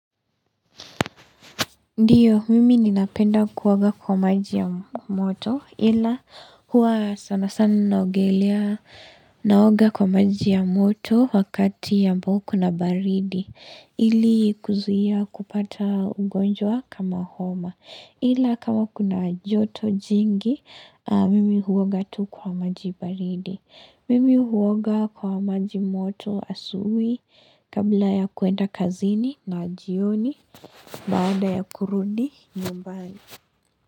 Ndiyo, mimi ninapenda kuoga kwa maji ya moto ila huwa sana sana naogelea naoga kwa maji ya moto wakati ambao kuna baridi ili kuzuia kupata ugonjwa kama homa ila kama kuna joto jingi, mimi huoga tu kwa maji baridi. Mimi huoga kwa majimoto asubui kabla ya kuenda kazini na jioni baada ya kurudi nyumbani.